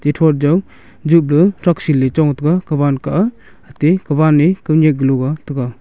kethrout jaw jipla thrakche le chong taiga kawan kah a ate kawan e kawnyak kaloa tega.